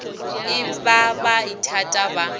e ba ba ithata ba